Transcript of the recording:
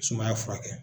Sumaya furakɛ